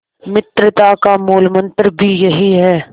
मित्रता का मूलमंत्र भी यही है